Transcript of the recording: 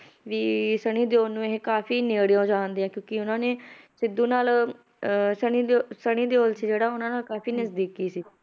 ਵੀ ਸਨੀ ਦਿਓਲ ਨੂੰ ਇਹ ਕਾਫ਼ੀ ਨੇੜਿਓ ਜਾਣਦੇ ਆ ਕਿਉਂਕਿ ਉਹਨਾਂ ਨੇ ਸਿੱਧੂ ਨਾਲ ਅਹ ਸਨੀ ਦਿਓ~ ਸਨੀ ਦਿਓਲ ਸੀ ਜਿਹੜਾ ਉਹਨਾਂ ਨਾਲ ਕਾਫ਼ੀ ਨਜ਼ਦੀਕੀ ਸੀ,